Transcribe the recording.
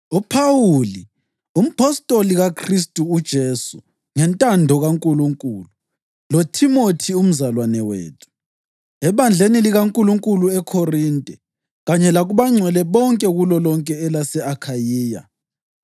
UPhawuli, umpostoli kaKhristu uJesu ngentando kaNkulunkulu, loThimothi umzalwane wethu. Ebandleni likaNkulunkulu eKhorinte, kanye lakubangcwele bonke kulolonke elase-Akhayiya: